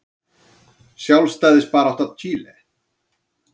Sjálfstæðisbarátta Chile.